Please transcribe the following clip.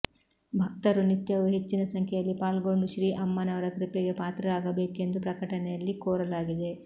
ಭಕ್ತರು ನಿತ್ಯವೂ ಹೆಚ್ಚಿನ ಸಂಖ್ಯೆಯಲ್ಲಿ ಪಾಲ್ಗೊಂಡು ಶ್ರೀ ಅಮ್ಮನವರ ಕೃಪೆಗೆ ಪಾತ್ರರಾಗಬೇಕೆಂದು ಪ್ರಕಟಣೆಯಲ್ಲಿ ಕೋರಲಾಗಿದೆ